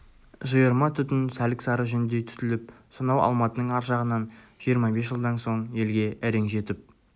жиырма түтін сәлік-сары жүндей түтіліп сонау алматының ар жағынан жиырма бес жылдан соң елге әрең жетіп